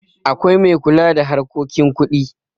akwai mai kula da harkokin kuɗi